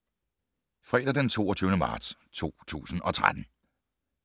Fredag d. 22. marts 2013